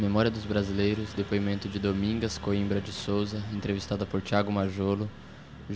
Memória dos Brasileiros, depoimento de Domingas Coimbra de Sousa, entrevistada por Thiago Majolo.